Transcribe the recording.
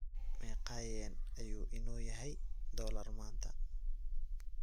meeqa Yen ayuu inoo yahay dollar maanta